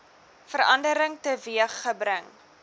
verandering teweeg gebring